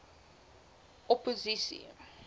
opposisie